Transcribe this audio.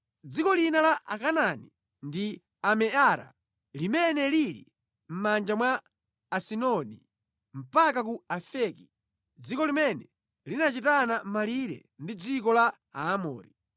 Dziko lina la Akanaani ndi Ameara limene lili mʼmanja mwa Asidoni mpaka ku Afeki, dziko limene linachitana malire ndi dziko la Aamori.